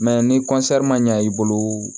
ni ma ɲa i bolo